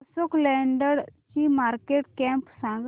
अशोक लेलँड ची market cap सांगा